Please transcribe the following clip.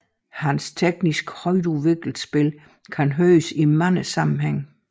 Hans teknisk højtudviklede spil kan høres i mange sammenhænge